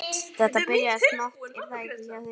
Hrund: Þetta byrjaði smátt er það ekki hjá þér?